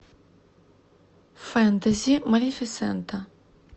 фэнтези малефисента